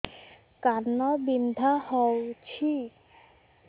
କାନ ବିନ୍ଧା ହଉଛି